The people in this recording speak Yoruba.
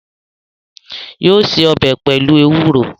Yóò se ọbẹ pelu ewuro